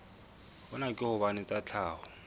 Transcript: hona ke hobane tsa tlhaho